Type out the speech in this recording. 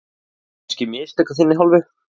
Voru þetta kannski mistök af þinni hálfu?